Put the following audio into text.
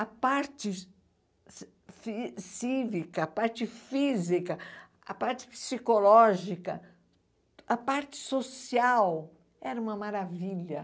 A parte ci fi cívica, a parte física, a parte psicológica, a parte social era uma maravilha.